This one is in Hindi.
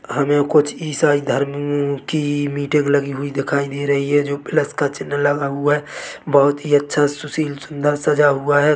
हमें कुछ ईसाई धर्म ममम की मीटिंग लगी हुई दिखाई दे रही है जो प्लस का चिन्ह लगा हुआ है बहुत ही अच्छा सुशील सुन्दर सजा हुआ है।